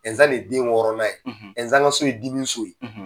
Ɛnzan de ye den wɔɔrɔnan ye Ɛnzan ka so ye dimiso ye.